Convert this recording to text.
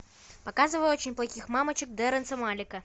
показывай очень плохих мамочек дерренса малика